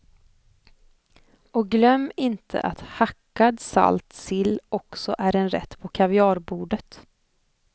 Och glöm inte att hackad salt sill också är en rätt på kaviarbordet.